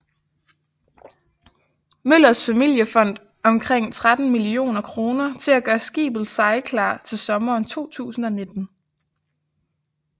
Møllers familiefond omkring 13 millioner kroner til at gøre skibet sejlklar til sommeren 2019